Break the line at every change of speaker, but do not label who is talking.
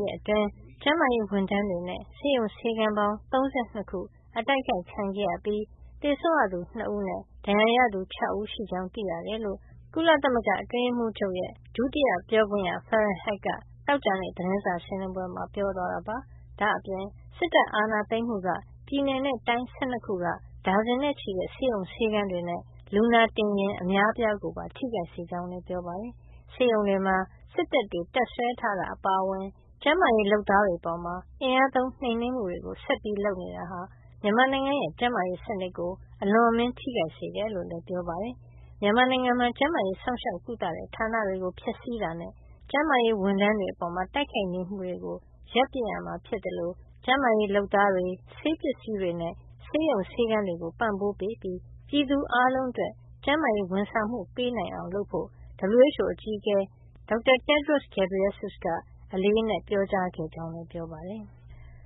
နေ့ အတွင်း ကျန်းမာရေးဝန်ထမ်းတွေနဲ့ ဆေးရုံဆေးခန်းပေါင်း ၃၂ ခု အတိုက်ခိုက်ခံခဲ့ရပြီး သေဆုံးရသူ၂ ဦးနဲ့ ဒဏ်ရာရသူက ၆ ဦးရှိကြောင်း သိရတယ်လို့ ကုလသမဂ္ဂအတွင်းရေးမှုးချုပ်ရုံး ပြောခွင့်ရ Farhan Haq က သောကြာနေ့ သတင်းစာ ရှင်းလင်းပွဲမှာ ပြောသွားတာပါ။ ဒါ့အပြင် စစ်တပ်အာဏာသိမ်းမှုက ပြည်နယ်နဲ့တိုင်း ၁၂ ခုက ဒါဇင်နဲ့ချီတဲ့ ဆေးရုံဆေးခန်းတွေနဲ့ လူနာတင်ယာဉ် အများအပြားကိုပါ ထိခိုက်စေကြောင်း ပြောပါတယ်။ ဆေးရုံတွေမှာ စစ်တပ်တွေ တပ်စွဲထားတာ အပါအဝင် ကျန်းမာရေးလုပ်သားတွေ အပေါ် အင်အားသုံးနှိမ်နင်းမှုတွေ ဆက်လုပ်နေတာဟာ မြန်မာနိုင်ငံရဲ့ ကျန်းမာရေးစနစ်ကို အလွန်အမင်း ထိခိုက်စေတယ်လို့လည်း ပြောပါတယ်။ မြန်မာနိုင်ငံမှာ ကျန်းမာရေးစောင့်ရှောက်ကုသတဲ့ ဌာနတွေကို ဖျက်ဆီးတာနဲ့ ကျန်းမာရေးဝန်ထမ်းတွေ အပေါ် တိုက်ခိုက်နေမှုတွေကို ရပ်ပစ်ရမှာ ဖြစ်သလို ကျန်းမာရေးလုပ်သားတွေ၊ ဆေးပစ္စည်းတွေနဲ့ ဆေးရုံဆေးခန်းတွေကို ပံ့ပိုးပေးပြီး ပြည်သူအားလုံး အတွက် ကျန်းမာရေးဝန်ဆောင်မှုပေးနိုင် အောင် လုပ်ဖို့ WHO အကြီးအကဲ Dr. Tedros Adhanom Ghebreyesus က အလေးအနက် ပြောကြားထား ကြောင်းလည်း ပြောပါတယ်။